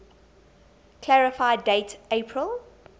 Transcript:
clarify date april